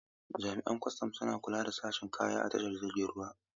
Jami'an kwastam suna kula da sakin kaya a tashar jiragen ruwa.